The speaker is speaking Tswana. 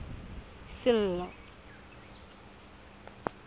sello